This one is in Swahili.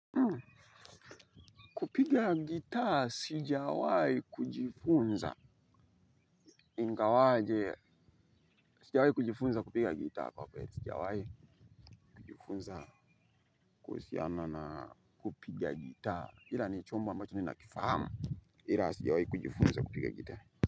Kupiga gitaa, sijawai kujifunza. Ingawaje, sijawahi kujifunza kupiga gitaa. Kwa kweli, sijawahi kujifunza. Kuhusiana na kupiga gitaa. Ila ni chombo ambacho ninakifahamu, ila sijawahi kujifunza kupiga gitaa.